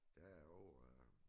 Der er over øh